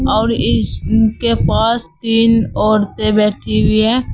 और इस इनके पास तीन औरतें बैठी हुई है।